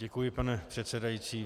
Děkuji, pane předsedající.